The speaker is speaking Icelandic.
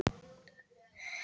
Hún var nánast tóm.